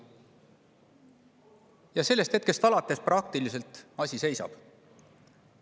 Aga sellest hetkest alates praktiliselt asi seisab.